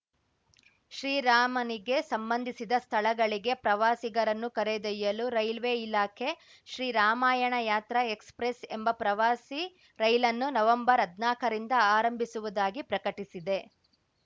ಶ್ರೀರಾಮನಿಗೆ ಸಂಬಂಧಿಸಿದ ಸ್ಥಳಗಳಿಗೆ ಪ್ರವಾಸಿಗರನ್ನು ಕರೆದೊಯ್ಯಲು ರೈಲ್ವೆ ಇಲಾಖೆ ಶ್ರೀರಾಮಾಯಣ ಯಾತ್ರಾ ಎಕ್ಸ್‌ಪ್ರೆಸ್‌ ಎಂಬ ಪ್ರವಾಸಿ ರೈಲನ್ನು ನವಂಬರ್ಹದ್ನಾಕರಿಂದ ಆರಂಭಿಸುವುದಾಗಿ ಪ್ರಕಟಿಸಿದೆ